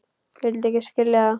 Vildi ekki skilja það.